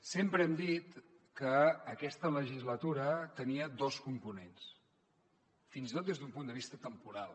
sempre hem dit que aquesta legislatura tenia dos components fins i tot des d’un punt de vista temporal